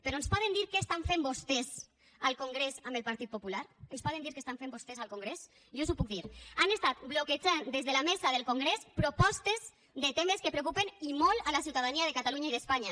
però ens poden dir què estan fent vostès al congrés amb el partit popular ens poden dir què estan fent vostès al congrés jo els ho puc dir han estat bloquejant des de la mesa del congrés propostes de temes que preocupen i molt la ciutadania de catalunya i d’espanya